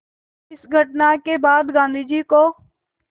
इस घटना के बाद गांधी को